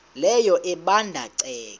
leyo ebanda ceke